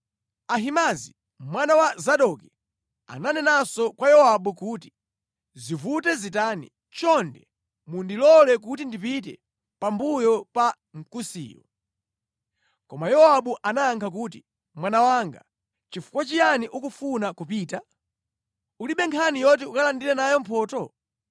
Ahimaazi mwana wa Zadoki ananenanso kwa Yowabu kuti, “Zivute zitani, chonde mundilole kuti ndipite pambuyo pa Mkusiyo.” Koma Yowabu anayankha kuti, “Mwana wanga, nʼchifukwa chiyani ukufuna kupita? Ulibe nkhani yoti ukalandire nayo mphotho.”